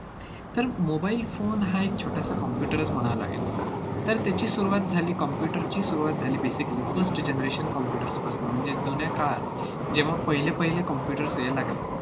तर mobile phone हा एक छोटासा computer च म्हणावा लागेल. तर त्याची सुरुवात झाली, computer ची सुरुवात झाली basically first generation computers पासनं, म्हणजेच जुन्या काळात जेव्हा पहिले पहिले computers यायला लागले,